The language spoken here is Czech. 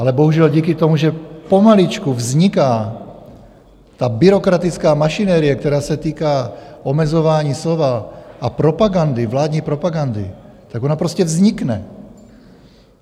Ale bohužel díky tomu, že pomaličku vzniká ta byrokratická mašinerie, která se týká omezování slova a propagandy, vládní propagandy, tak ona prostě vznikne.